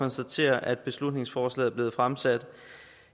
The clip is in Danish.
konstatere at beslutningsforslaget er blevet fremsat